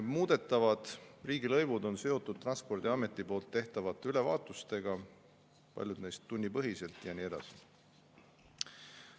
Muudetavad riigilõivud on seotud Transpordiameti tehtavate ülevaatusega, paljud neist tunnipõhiselt ja nii edasi.